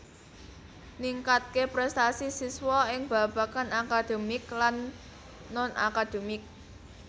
Ningkatké prestasi siswa ing babagan akademik lan non akademik